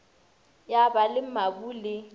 ya ba le mabu le